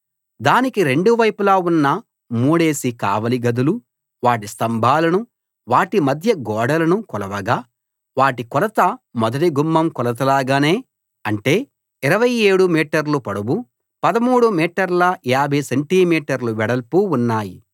దానికి రెండు వైపులా ఉన్న మూడేసి కావలి గదులు వాటి స్తంభాలను వాటి మధ్య గోడలను కొలవగా వాటి కొలత మొదటి గుమ్మం కొలతలాగానే అంటే 27 మీటర్లు పొడవు 13 మీటర్ల 50 సెంటి మీటర్లు వెడల్పు ఉన్నాయి